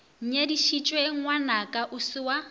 nyadišitše ngwanaka o se wa